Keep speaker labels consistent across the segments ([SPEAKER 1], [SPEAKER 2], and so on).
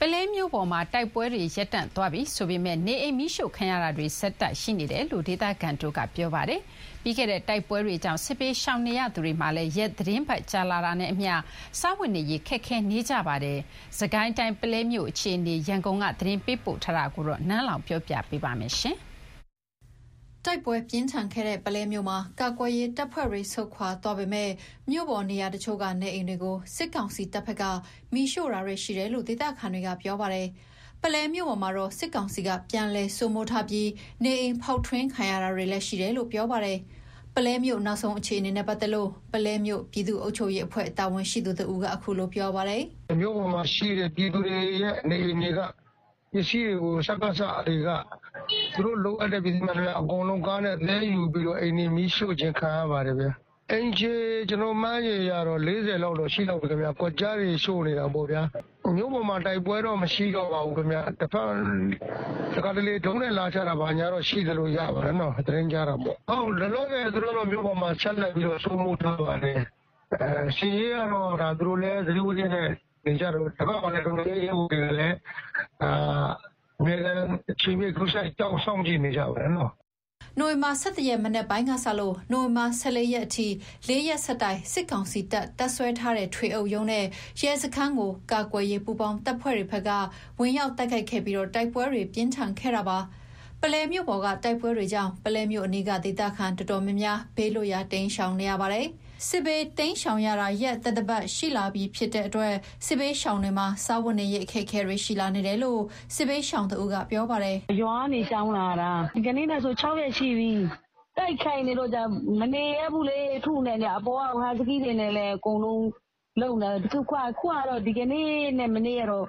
[SPEAKER 1] ပုလဲမြို့ပေါ်မှာ တိုက်ပွဲတွေ ရပ်တန့်သွားပြီဆိုပေမယ့်၊ နေအိမ်မီးရှို့ခံရတာတွေ ဆက်ရှိနေတယ်လို့ ဒေသခံတွေက ပြောပါတယ်။ ပြီးခဲ့တဲ့ တိုက်ပွဲတွေကြောင့် စစ်ဘေးရှောင်နေသူတွေမှာလည်း ရက်သီတင်းပတ်ကြာလာတာနဲ့အမျှ စားဝတ်နေရေးခက်ခဲလာကြပါတယ်။ စစ်ကိုင်းတိုင်း ပုလဲမြို့အခြေအနေ ရန်ကုန်က သတင်းပေးပို့ထားတာကို ပြောပြပါမယ်။
[SPEAKER 2] တိုက်ပွဲပြင်းထန်ခဲ့တဲ့ ပုလဲမြို့မှာ ကာကွယ်ရေးတပ်ဖွဲ့တွေ ဆုတ်ခွာသွားပေမယ့်၊ မြို့ပေါ် နေရာအချို့က နေအိမ်တွေကို စစ်ကောင်စီ တပ်ဘက်က မီးရှို့တာတွေရှိတယ်လို့ ဒေသခံတွေက ပြောပါတယ်။ ပုလဲမြို့ပေါ်မှာတော့ စစ်ကောင်စီက ပြန်လည်စိုးမိုးထားပြီ နေအိမ်ဖောက်ထွင်းခံရတာတွေလည်း ရှိနေတယ်လို့ ပြောပါတယ်။ ပုလဲမြို့နောက်ဆုံး အခြေအနေနဲ့ ပတ်သက်လို့ ပုလဲမြို့ ပြည်သူ့အုပ်ချုပ်ရေးအဖွဲ့ တာဝန်ရှိသူ တဦးက အခုလို ပြောပါတယ်
[SPEAKER 3] ။ "မြို့ပေါ်မှာရှိတဲ့ နေအိမ်တွေက ပြည်သူတွေရဲ့ ပစ္စည်းတွေကို စကစတွေက သူတို့ လိုအပ်တဲ့ ပစ္စည်းမှန်သမျှ အကုန်လုံးသယ်ယူပြီး အိမ်တွေမီးရှို့ခြင်းခံရပါတယ်။ အိမ်ခြေမှန်းခြေအရ ၄၀ လောက်တော့ ရှိလောက်မယ် ကွက်ကျားတွေရှို့နေတာပေါ့။ မြို့ပေါ်မှာ တိုက်ပွဲတော့ မရှိတော့ပါဘူး။ တခါတလေ ဒရုန်းနဲ့ လာချတာတွေတော့ရှိတယ်။ လောလောဆယ် သူတို့မြို့ပေါ်မှာ ဆက်လက်စိုးမိုးထားပါတယ်။ စစ်ရေးကတော့ သူတို့လည်း သတိဝီရိယနဲ့နေကြတာပေါ့။ ဒီဘက်ကလည်း တော်လှန်ရေးရဲဘော်တွေကလည်း အမြဲအချိန်ပြည့် စောင့်ကြည့်နေကြပါတယ်။"
[SPEAKER 2] နိုဝင်ဘာ ၁၁ ရက် မနက်ပိုင်းကစလို့ နိုဝင်ဘာ ၁၄ ရက်အထိ ၄ ရက်ဆက်တိုက် စစ်ကောင်စီ တပ် တပ်စွဲထားတဲ့ ထွေအုပ်ရုံးနဲ့ရဲစခန်းကို ကာကွယ်ရေးပူးပေါင်းတပ်ဖွဲ့တွေက ဝင်ရောက်တိုက်ခိုက်ခဲ့ပြီး တိုက်ပွဲတွေ ပြင်းထန်ခဲ့တာပါ။ ပုလဲမြို့ပေါ်က တိုက်ပွဲတွေကြောင့် ပုလဲမြို့အနီးက ဒေသခံတော်တော်များများ ဘေးလွတ်ရာ တိမ်းရှောင်နေရပါတယ်။ စစ်ဘေးတိမ်းရှောင်ရတာ ရက်သတ္တပတ်နီးပါးရှိလာတဲ့အတွက် စစ်ဘေးရှောင်တွေမှာ စားဝတ်နေရေးအခက်အခဲ
[SPEAKER 4] တွေရှိလာနေတယ်လို့ စစ်ဘေးရှာင်တဦးက ပြောပါတယ်။ "ရွာကနေရှောင်လာတာ ဒီကနေ့နဲ့ဆို ၆ ရက်ရှိပြီ။ တိုက်ခိုက်နေတော့ မနေရဲဘူးလေ။ အပေါ်ကနေ ဟတ်စကီးတွေနဲ့လည်း အပေါ်ကနေ လုပ်နေတာ အခုဟာ ဒီကနေ့နဲ့ မနေ့တော့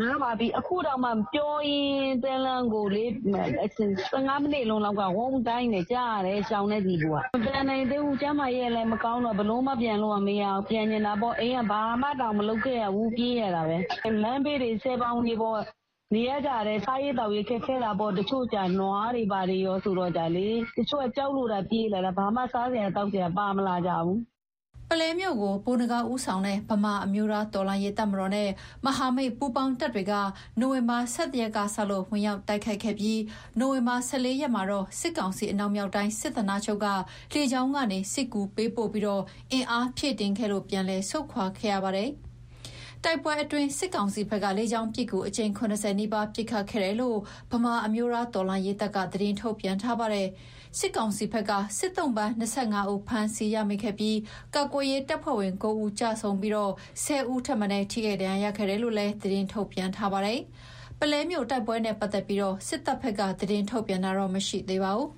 [SPEAKER 4] နားပါပြီ။ အခုတောင် ပြောရင်းတန်းလန်းကိုလေ ၁၅ မိနစ်လောက်က ဝုန်းဒိုင်းဆိုပြီး ကြားရတယ်၊ ရှောင်တဲ့သူတွေက မပြန်နိုင်သေးဘူး ကျန်းမာရေးကလည်းမကောင်းတော့ ပြန်လို့ကမရသေးဘူး။ ပြန်ချင်တာပေါ့။ အိမ်က ဘာမှတောင် မလုပ်ခဲ့ရဘူး။ပြေးရတာပဲ။ လမ်းဘေးတွေ ဆည်ဘောင်တွေပေါ်နေကြရတယ်။ စားရေးသောက်ရေးတွေခက်ခဲတာပေါ့။ တချို့က နွားတွေဘာတွေကောဆိုတော့ တချို့က ကြောက်လို့သာ ပြေးလာကြတာ ဘာမှ စားစရာ သောက်စရာ ပါမလာကြဘူး။"
[SPEAKER 2] ပုလဲမြို့ကို ဗိုလ်နဂါးဦးဆောင်တဲ့ ဗမာ အမျိုးသားတော်လှန်ရေး တပ်မတော်နဲ့ မဟာမိတ်ပူးပေါင်းတပ်တွေက နိုဝင်ဘာ ၁၁ ရက်ကစလို့ ဝင်ရောက်တိုက်ခိုက်ခဲ့ပြီး၊ နိုဝင်ဘာ ၁၄ ရက်မှာတော့ စစ်ကောင်စီ အနောက်မြောက်တိုင်း စစ်ဌာနချုပ်က လေကြောင်းကနေ စစ်ကူပေးပို့ပြီးအင်အားဖြည့်တင်းခဲ့လို့ ပြန်လည် ဆုတ်ခွါခဲ့ရပါတယ်။ တိုက်ပွဲအတွင်း စစ်ကောင်စီဘက်က လေကြောင်းပစ်ကူ အကြိမ် ၇၀ နီးပါး ပစ်ခတ်ခဲ့တယ်လို့ ဗမာအမျိုးသားတော်လှန်ရေးတပ်က သတင်းထုတ်ပြန်ထားပါတယ်။ စစ်ကောင်စီဘက်က စစ်သုံ့ပန် ၂၅ ဦး ဖမ်းဆီးရမိခဲ့သလို၊ ကာကွယ်ရေးတပ်ဖွဲ့ဝင် ၉ ဦး ကျဆုံးပြီး ၁၀ ဦး ထိခိုက်ဒဏ်ရာ ရခဲ့တယ်လို့လည်း သတင်းထုတ်ပြန်ထားပါတယ်။ ပုလဲမြို့ တိုက်ပွဲနဲ့ ပတ်သက်ပြီး စစ်တပ်ဘက်က သတင်းထုတ်ပြန်တာတော့မရှိသေးပါဘူး